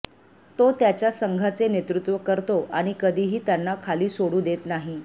तो त्याच्या संघाचे नेतृत्व करतो आणि कधीही त्यांना खाली सोडू देत नाही